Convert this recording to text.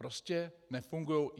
Prostě nefungují.